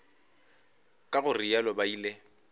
ka go realo ba ile